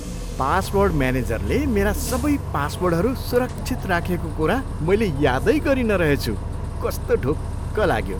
Password मेनेजरले मेरा सबै पासवर्डहरू सुरक्षित राखेको कुरा मैले यादै गरिनँ रहेछु। कस्तो ढुक्क लाग्यो!